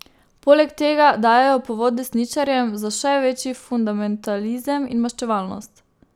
Poleg tega dajejo povod desničarjem za še večji fundamentalizem in maščevalnost.